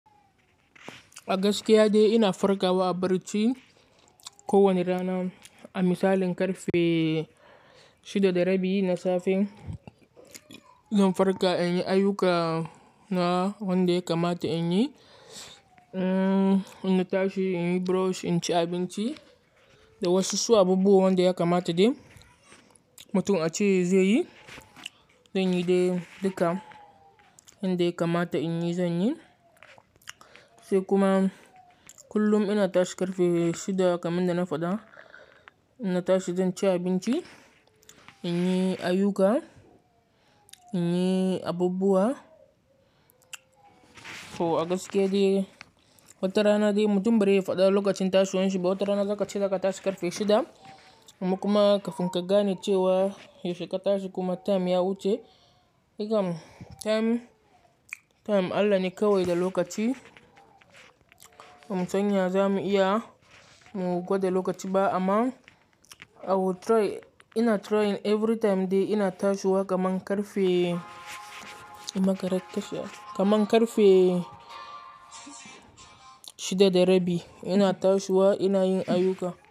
A gaskiya dai ina farkawa a barci kowane rana. A misalin karfe shida da rabi na safe zan farka in yi ayyukana wanda ya kamata in yi. Inna tashi in yi brush, in ci abinci da wasu su abubuwa wanda ya kamata dai mutum a ce zai yi, zan yi dai duka inda ya kamata in yi zan yi. Sai kuma kullum ina tashi karfe shida kaman dana faɗa. Inna tashi zan ci abinci, in yi ayyuka, in yi abubuwa. A gaskiya dai wata rana dai mutum bari ya faɗa lokacin tashiwanshi, ba wata rana za ka ce za ka tashi karfe shida amma kuma kafin ka gane cewa yaushe ka tashi kuma time ya wuce. Time Allah ne kawai da lokaci. Mu sanya zamu iya mu gwada lokaci ba amma ina trying every time dai ina tashiwa kama ƙarfe kamar ƙarfe shida da rabi. Ina tashiwa ina yin ayyuka.